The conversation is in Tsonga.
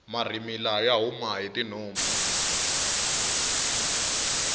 marhimila ya huma hi tinhompfu